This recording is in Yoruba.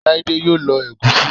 Laide yoo lo Egusi